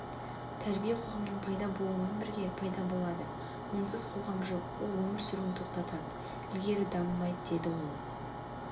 тәрбие қоғамның пайда болуымен бірге пайда болады онсыз қоғам жоқ ол өмір сүруін тоқтатады ілгері дамымайды деді ол